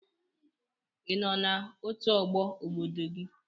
Ị nọ n'otu ọgbọ obodo gị?